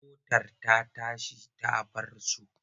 Motar ta tashi ta bar su.